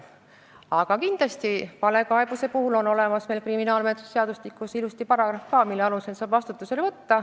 Aga kindlasti on valekaebuse kohta karisusseadustikus vastav paragrahv, mille alusel saab valeütluste andmise eest vastutusele võtta.